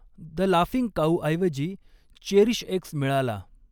The laughing काऊऐवजी चेरीशएक्स मिळाला.